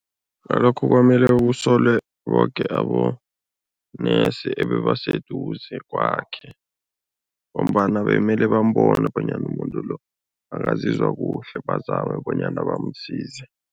Ngalokho kwamele kusolwe boke abonesi ebebaseduze kwakhe ngombana bemele bambone bonyana umuntu lo, akazizwa kuhle bazame bonyana bamsize.